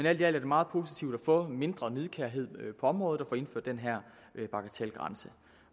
alt er det meget positivt at få mindre nidkærhed på området og at få indført den her bagatelgrænse